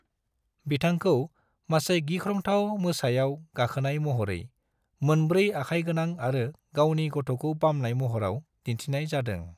बिथांखौ मासे गिख्रंथाव मोसायाव गाखोनाय महरै, मोनब्रै आखाइगोनां आरो गावनि गथ'खौ बामनाय महराव दिन्थिनाय जादों।